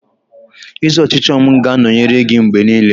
Ezi ọchịchọ m ga-anọnyere gị mgbe niile.